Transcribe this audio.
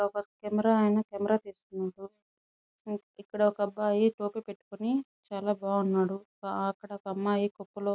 ఒక camera men camera చేస్తున్నాడు ఇక్కడ ఒక అబ్బాయి టోపీ పెట్టుకుని చాలా బాగున్నాడు అక్కడ ఒక అమ్మాయి కొప్పులో --